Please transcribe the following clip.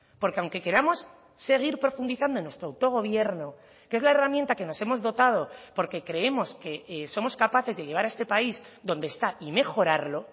porque aunque queramos seguir profundizando en nuestro autogobierno que es la herramienta que nos hemos dotado porque creemos que somos capaces de llevar a este país donde está y mejorarlo